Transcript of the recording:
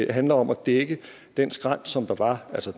det handler om at dække den skrænt som der var altså